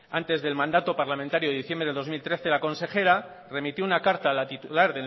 antes del mandato parlamentario de diciembre de dos mil trece la consejera remitió una carta a la titular